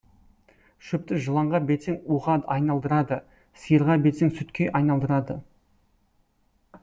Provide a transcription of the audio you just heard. шөпті жыланға берсең уға айналдырады сиырға берсең сүтке айналдырады